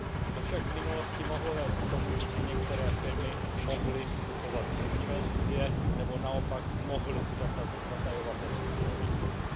To však v minulosti mohlo vést k tomu, že si některé firmy mohly kupovat příznivé studie nebo naopak mohly zatajovat nepříznivé výsledky.